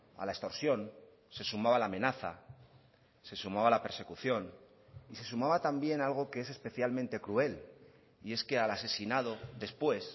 a la extorsión se sumaba la amenaza se sumaba la persecución y se sumaba también algo que es especialmente cruel y es que al asesinado después